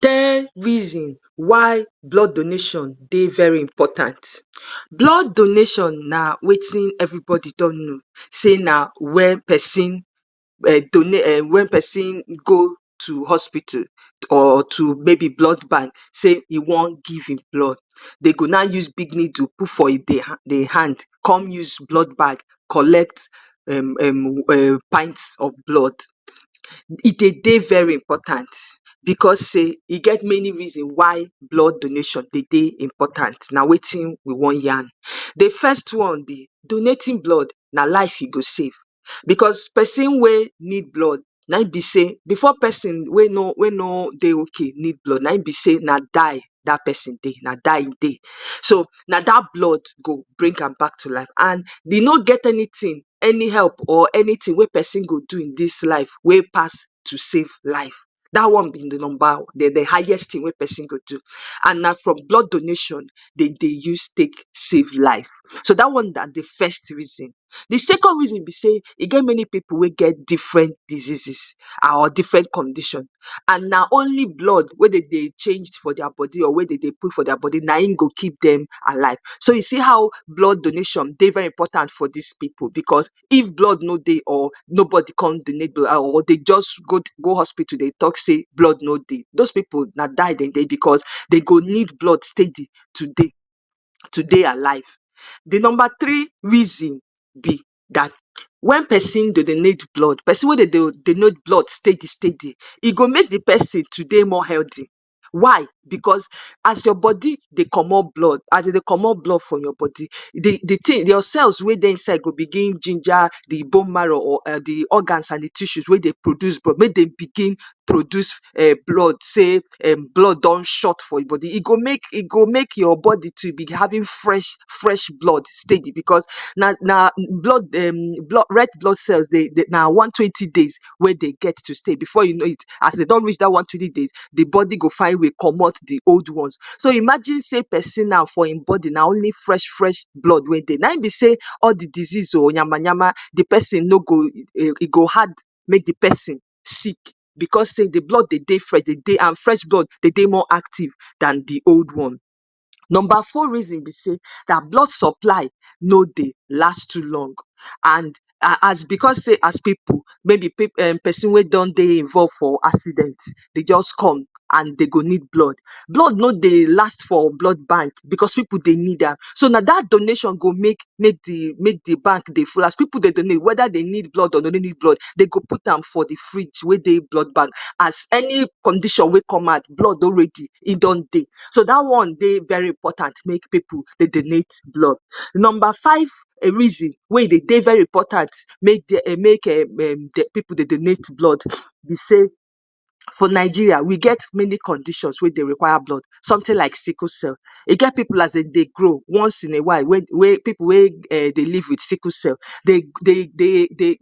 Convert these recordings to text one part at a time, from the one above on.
‎ ten reason why blood donation dey very important blood donation na wetin everibodi don no say na wel pesin e um wen pesin go to hospital or to maybe blood bank say e want give him blood dey go na use big needle to put for e hand com use blood bag collect um pint of blood e dey dey very important bcos e get many reason why blood donation dey dey important na wetin we wan yan, dey first one be donating blood, na life u go save becos person we need blood naim be say before person we no dey ok need blood naim be say na die e dey na die dat person dey na dat blood go bring am back to life and e no get anytin any help or anytin wen person go do in dis life wen pass to save life dat one na de highest tin wen pesin go do and na for blood donation. Da one na de first reason de second reason be say e get many pipu we get different diseases a or different condition and na only blood we dey de change for dia body or we Dem dey put for dia body naim go keep Dem alive so u see how blood donation dey very important for dis pipu bcos if blood no dey or nobody come donate blood or dey jus go hospitu dey talk say blood no de, does pipu na die Dem dey bcos dey go need blood steady to take dey alive de number tree reason be dat wen person dey donate blood pesin we dey donate blood steady steady e go make de pesin to dey more healthy, why bcos as your body dey comot blood as e dey comot blood for body your cells we dey inside go begin ginger de bone marrow or de organs abi tissues we dey produce blood inside say blood don short for your body e go make e go make your body to be having fresh fresh blood steady becos na blood um red blood cells na one twenty days we dey get to stay before u no it as Dem don reach dat one twenty days dey body go fine ways comot de old ones so imagine say pesin now for e body na only fresh fresh blood naim be say all de disease o yamayama de pesin no go um e go hard make de person sick bcos say de blood dey de fresh dey de and fresh blood dey de more active Dan de old one. Number four reason be say na blood supply no dey last too long Dan de old one and becos say as pipu mayb pesin wen don dey for for accident dey jus come an dey go need blood blood no dey last for blood bank bcos pipu dey need am so na dat na dat donation go make we de bank dey full as pipu dey need blood weda dey need am or dey no need am dey go put am for de fridge we dey blood bank as any condition we come out blood don ready in don dey so da one dey very important make pipu dey donate blood. Number five reason we dey de very important make dey make um um pipu dey donate blood be say for Nigeria, we get many conditions wen go require blood sometin like sickle cell e get pipu wen as Dem dey grow once in a while dey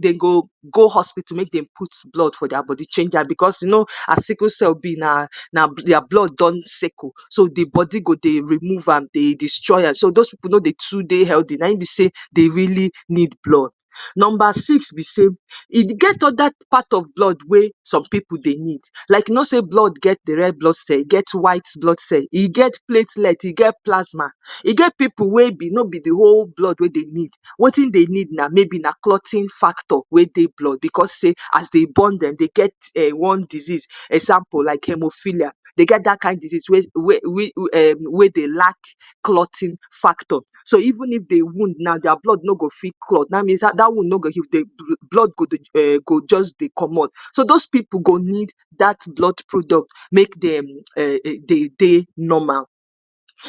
de go go hospitu make Dem put blood for dia body change am bcos u no as sickle cell be na na dia blood son sickle so dia body go dey remove am dey destroy am so does pipu no dey too dey healthy naim be say dey really need blood. Number Sis be say e get oda part of blood wen some pipu dey need u no say blood get de red blood cells e get white blood cells e get platelets e get plasma e get pipu we no be de whole blood dey need wetin dey need maybe na clothing factor we dey blood bcos say as dey born Dem dey get um one dizez example like hemofilia dey get dat kin dizez we we um we dey lack clothing factor so even if de wound now dia blood no go fit cloth dat means dat wound no go give Dem um blood go jus dey comot so does pipu go need dat blood product make dem um we dey de normal.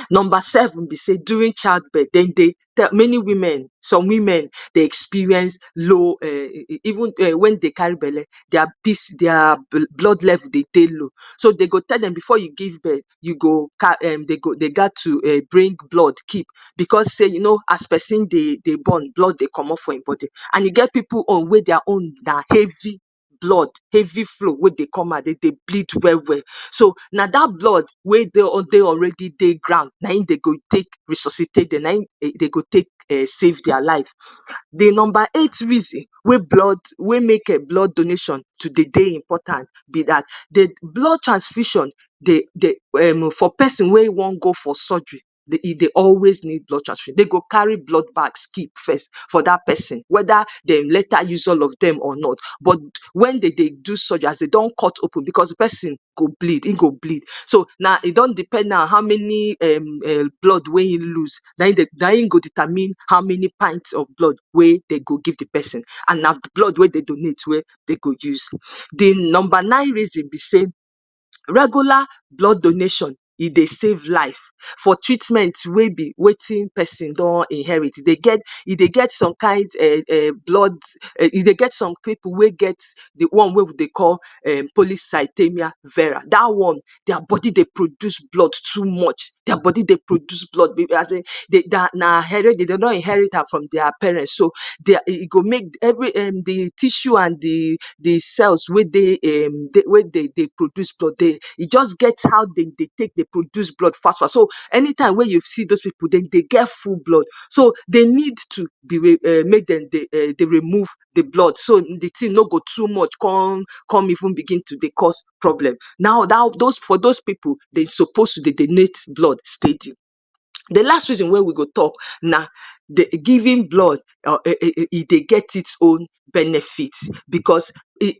Number seven be say during child birth Dem dey many women some women dey experience low um even um when dey carry belle dia piss dia blood level dey de low so I go tell Dem before I give birth Dem go um u gat tu I'm being blood keep bcos say u know as person dey born blood dey comot for Im body and e get pipu own we dia own na heavy heavy flow we dey come out den dey bleed welwel na da blood we dey already dey ground naim dey go take resuscitate Dem naim dey go take um save dia life. de number eight reason we blood we make um blood donation to dey de important be dat blood transfusion be dey um um for pesin we wan go for surgery dey go dey always need blood transfusion, dey go dey carry blood bags keep fest for dat pesin weda dey later use all of Dem or not but wen dey de do surgery as dey don cut open de person, de person go bleed in go bleed so e don depend now how many um blood we in loose naim go determine how many pints of blood we Dem go give de pesin an na blood we Dem donate naim Dem go use. de number nine reason be say regular blood donation e dey save life for treatment we be wetin person don inherit e dey get some kin um um blood e dey get some pipu we get de one wen wi dey call polycythemia era da one dia body dey produce blood too much dia body dey produce blood na maybe Dem don inherit am from dia parents so e um go make every um de tissue and de cells we dey um we produce blood dey e jus get how Dem take dey produce blood sharp sharp any time we u see does pipu Dem dey get full blood so dey need to um make Dem dey um dey remove de blood so de tin no go too much con con begin to dey cos problem, now da for does pipu dey suppose dey donate blood steady. de last reason wen we go talk na um giving blood um um um dey get it's own benefit bcos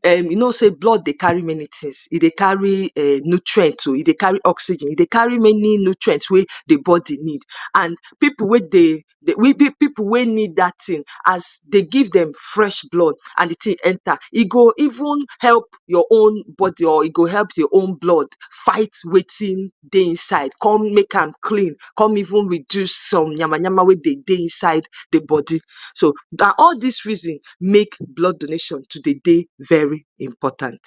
um u no say blood dey carry many tins e dey carry nutriends o e dey carry oxygen e dey carry many nutrients we de body need an pipu we dey um pipu we need dat tin as dey give Dem fresh blood as de tin enter e go even help your own body e go help your own blood fight wetin dey inside come make an clean come even reduce some yamayama we dey de inside de body so na all dis reason de make blood donation to dey de very important